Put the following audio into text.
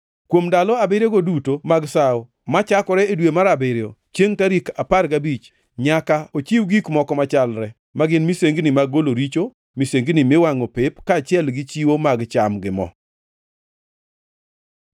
“ ‘Kuom ndalo abiriyogo duto mag sawo, machakore e dwe mar abiriyo, chiengʼ tarik apar gabich, nyaka ochiw gik moko machalre, ma gin, misengini mag golo richo, misengini miwangʼo pep, kaachiel gi chiwo mag cham gi mo.